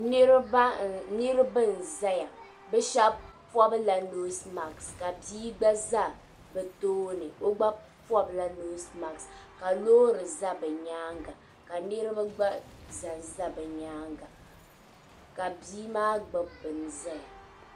Niriba n zaya bɛ sheba pobla noosi maasi bia gba za bɛ tooni o gba pobila noosi maasi ka loori za bɛ nyaanga ka niriba gba zanza bɛ nyaanga ka bia maa gbibi bini zaya.